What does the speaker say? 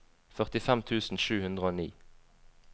førtifem tusen sju hundre og ni